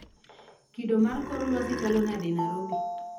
Kido mar kor lwasi chalo nade e Nairobi